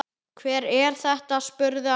Hver er þetta, spurði hann.